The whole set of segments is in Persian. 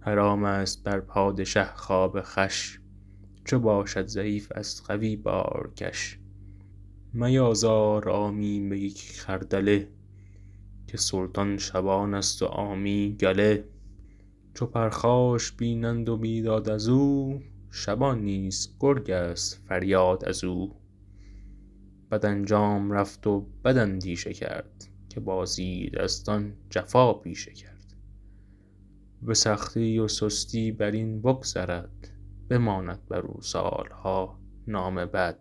حرام است بر پادشه خواب خوش چو باشد ضعیف از قوی بارکش میازار عامی به یک خردله که سلطان شبان است و عامی گله چو پرخاش بینند و بیداد از او شبان نیست گرگ است فریاد از او بد انجام رفت و بد اندیشه کرد که با زیردستان جفا پیشه کرد به سختی و سستی بر این بگذرد بماند بر او سالها نام بد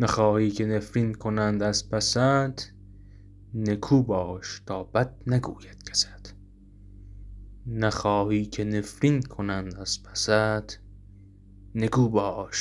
نخواهی که نفرین کنند از پست نکو باش تا بد نگوید کست